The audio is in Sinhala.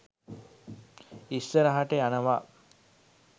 ඉස්සරහට යනවා